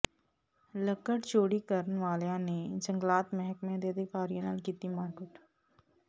ਲੱਕੜ ਚੋਰੀ ਕਰਨ ਵਾਲਿਆਂ ਨੇ ਜੰਗਲਾਤ ਮਹਿਕਮੇ ਦੇ ਅਧਿਕਾਰੀਆਂ ਨਾਲ ਕੀਤੀ ਮਾਰਕੁੱਟ